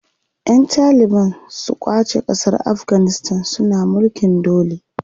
Ƴan taliban su ƙwace ƙasar Afganistan suna mulkin dole.